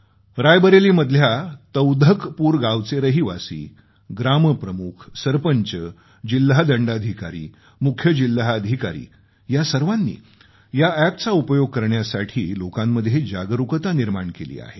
रायबरेलीमधल्या तौधकपूर गावचे रहिवासी ग्राम प्रमुखसरपंच जिल्हा दंडाधिकारी मुख्य जिल्हा अधिकारी या सर्वांनी या अॅपचा उपयोग करण्यासाठी लोकांमध्ये जागरूकता निर्माण केली आहे